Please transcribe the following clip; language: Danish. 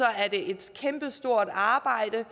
er et kæmpestort arbejde